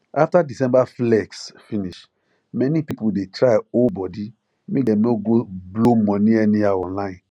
after december flex finish many people dey try hold body make dem no go blow money anyhow online